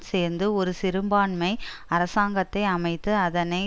சேர்ந்து ஒரு சிறுபான்மை அரசாங்கத்தை அமைத்தது அதனை